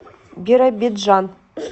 биробиджан